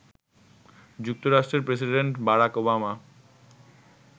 যুক্তরাষ্ট্রের president Barack Obama